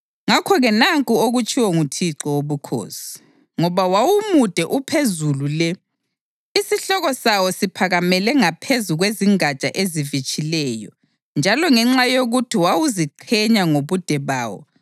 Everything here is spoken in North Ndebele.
Ngakho-ke nanku okutshiwo nguThixo Wobukhosi: Ngoba wawumude uphezulu le, isihloko sawo siphakamele ngaphezu kwezingatsha ezivitshileyo, njalo ngenxa yokuthi wawuziqhenya ngobude bawo,